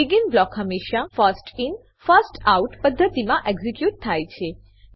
begin block હંમેશા first in first out પદ્ધતિમાં execute થાય છે